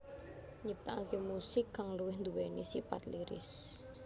Nyiptaaké musik kang luwih duwéni sipat lyris